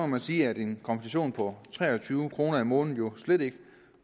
man sige at en kompensation på tre og tyve kroner om måneden jo slet ikke